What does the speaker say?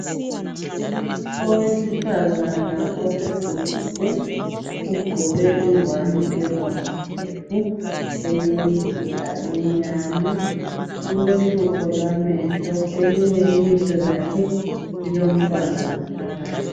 Owesifazana osegugile ugqoke ingwane ebomvu gebhu elemizila emnyama. Ulohlupho lwamehlo elinye ilihlo lakhe lilomntwana ngaphakathi.